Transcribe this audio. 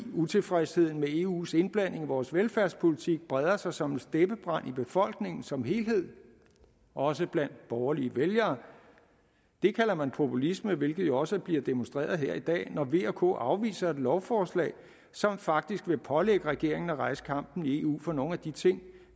utilfredsheden med eus indblanding i vores velfærdspolitik breder sig som en steppebrand i befolkningen som helhed og også blandt borgerlige vælgere det kalder man populisme hvilket jo også bliver demonstreret her i dag når v og k afviser et lovforslag som faktisk vil pålægge regeringen at rejse kampen i eu for nogle af de ting